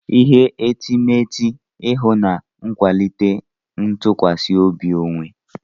Ihe etemeete ihu na-akwalite ntụkwasị obi onwe.